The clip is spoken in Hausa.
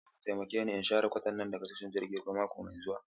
Za ku taimake ni in share kwantenana daga tashar jirgin ruwa mako mai zuwa?